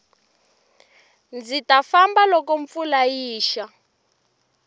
ndzi ta famba loko mpfula yi xa